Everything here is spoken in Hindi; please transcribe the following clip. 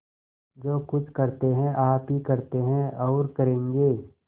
जो कुछ करते हैं आप ही करते हैं और करेंगे